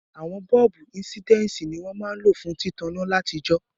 Àwon bọ́ọ̀bù insidensi ni won ma n lo fún títaná látijó